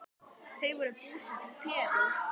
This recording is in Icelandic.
Þau voru búsett í Perú.